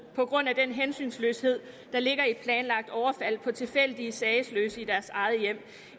på grund af den hensynsløshed der ligger i et planlagt overfald på tilfældige sagesløse i deres eget hjem